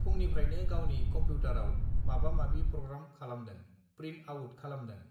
फुंनिफ्रायनो गावनि कम्पिउटाराव माबा माबि प्रग्राम खालामदों प्रिन्ट आउट खालामदों